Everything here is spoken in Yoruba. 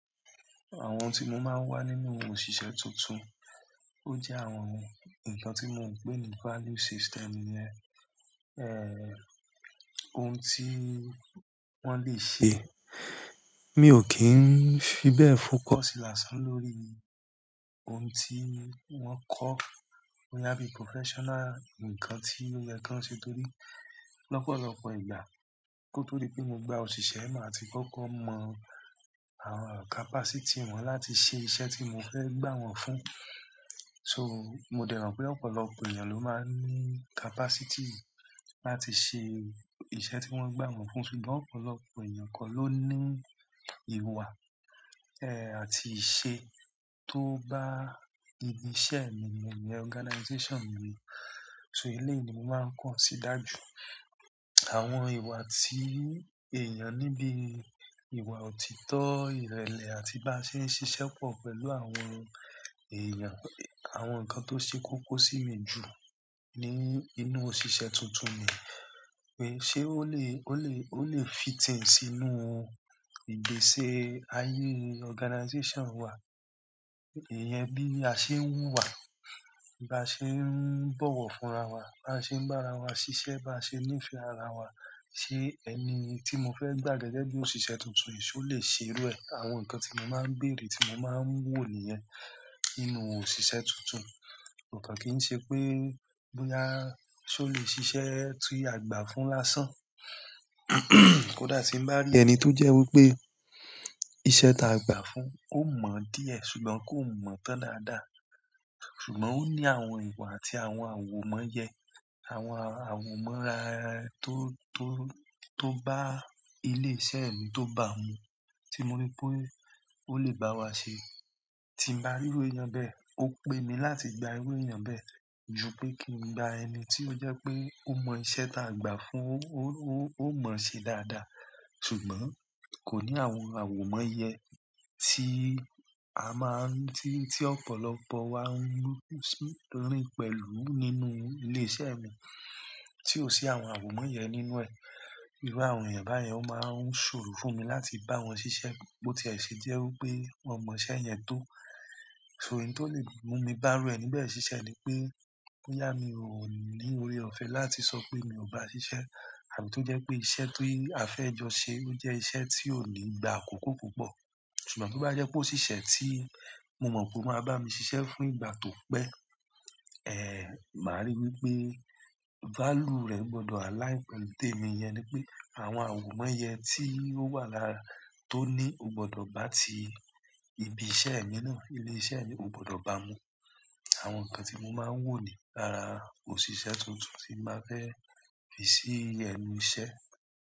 Àwọn tí mo máa wá nínú òṣìṣẹ́ tuntun, ó jẹ́ àwọn ǹkan tí mo ń pé ní value system nìyẹn, ohun tí wọ́n lè ṣe. Mi ò kí ń fi bẹ́ẹ̀ focus lásán lórí ohun tí wọ́n kọ́ bóyá bí professional ǹkan tí ó yẹ kí wọ́n ṣe torí lọ́pọ̀lọpọ̀ ìgbà kí ó tó di pé mo gba òṣìṣẹ́, màá ti kókó mọ àwọn capacity wọn láti ṣe iṣẹ́ tí mo fẹ́ gbà wọ́n fún. So, mo dẹ̀ mọ̀n pé ọ̀pọ̀lọpọ̀ èèyàn ló máa ń ní capacity láti ṣe iṣẹ́ tí wọ́n gbà wọ́n fún ṣùgbọ́n ọ̀pọ̀lọpọ̀ èèyàn kọ́ ló ní ìwà ẹ àti ìṣe tó bá ibi iṣẹ́ mi mun ìyẹn organization mi. So eléyìí ni mo máa ń consider jù. Àwọn ìwà tí èèyàn níbí, ìwà òtítọ́, ìrẹ̀lẹ̀ àti bá ṣe ń ṣiṣẹ́ pọ̀ pẹ̀lú àwọn èèyàn. Àwọn nǹkan tó ṣe kókó sí mi jù ní inú òṣìṣẹ́ tuntun nìyí pé ṣe ó lè, ó lè, ó lè fit in sínú ìgbésẹ̀ ayé organization wa. Ìyẹn bí a ṣe ń wù wá, bí a ṣe ń bọ̀wọ̀ fún ara wa, bá ṣe ń bá ara wa ṣiṣẹ́, bá ṣe ń nífẹ̀ẹ́ ara wa. Ṣé ẹni tí mo fẹ́ gbà gẹ́gẹ́ bí òṣìṣẹ́ tuntun yìí ṣó lè ṣe irú ẹ? Àwọn nǹkan tí mo máa ń bèèrè, tí mo máa ń wò nìyẹn nínú òṣìṣẹ́ tuntun. Kò kàn kí ń ṣe pé bóyá ṣó lè ṣiṣẹ́ tí agbàá fún lásán kódà tí ń bá rí ẹni tó jẹ́ wí pé iṣẹ́ táa gba fún ó mọ̀ díẹ̀ ṣùgbọ́n kó mọ̀ tán dáadáa. Ṣùgbọ́n ó ní àwọn ìwà àti àwọn àwòmọ́ye, àwọn àwò mọ́n ra tó tó tó bá ilé iṣẹ́ mi tó bá mu, tí mo rí pé ó le báwa ṣe. Tí mo bá rí èèyàn bẹ́ẹ̀, ó pe mí láti gba irú èèyàn bẹ́ẹ̀ ju pé kí n gba ẹni tí ó jẹ́ pé ó mọ iṣẹ́ ta gba fún ó, ó, ó mọ̀ ṣe dáadáa ṣùgbọ́n kò ní àwọn àwòmọ́yẹ tí a máa ń-- tí, tí ọ̀pọ̀lọpọ̀ wa ń rí pẹ̀lú nínú ilé iṣẹ́ mi. Tí ò sí àwọn àwòmọ́ yẹn nínú ẹ̀, irú àwọn èèyàn báyẹn ó máa ń ṣòro fún mi láti bá wọn ṣiṣẹ́ bó tiẹ̀ ṣe jẹ́ wí pé wọ́n mọ iṣẹ́ yẹn tó. So èyí tó lè mú mi bá irú ẹni bẹ́ẹ̀ ṣiṣẹ́ ni pé bóyá mi ò ní orí ọ̀fẹ́ láti sọ pé mi ò bá a ṣiṣẹ́ àmọ́ tó jẹ́ pé iṣẹ́ tí a fẹ́ jọ ṣe ó jẹ́ iṣẹ́ tí ò nígbà àkókó púpọ̀. Ṣùgbọ́n tí o bá jẹ́ pé ó ṣiṣẹ́ tí mo mọ̀ pé ó máa bá mi ṣiṣẹ́ fún ìgbà tó pẹ́, ẹ màá rí wí pé value rẹ̀ gbọdọ̀ align pẹ̀lú témi, ìyẹn ni pé àwọn àwòmọ́ye tí ó wà lára, tí ó ní, o gbọdọ̀ bá ti ibi iṣẹ́ mi náà, ilé ìṣẹ́ mí ó gbọdọ̀ bá mu. Àwọn nǹkan tí mo máa ń wò ní lára òṣìṣẹ́ tuntun tí n bá fẹ́ fi sí ẹnu iṣẹ́.